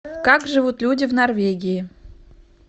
как живут люди в норвегии